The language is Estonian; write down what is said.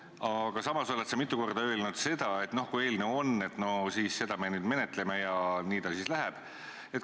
Aga samas oled sa mitu korda öelnud, et kui eelnõu on, siis seda me nüüd menetleme ja nii ta siis läheb.